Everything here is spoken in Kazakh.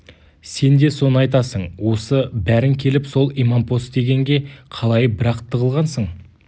сен де соны айтасың осы бәрің келіп сол имампос дегенге қалай бір-ақ тығылғансың